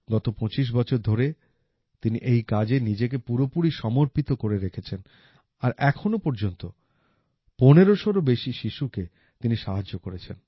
গত ২৫ বছর ধরে তিনি এই কাজে নিজেকে পুরোপুরি সমর্পিত করে রেখেছেন আর এখনো পর্যন্ত পনেরশোরও বেশী শিশুকে তিনি সাহায্য করেছেন